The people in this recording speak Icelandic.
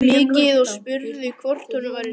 Hikaði og spurði hvort honum væri sama.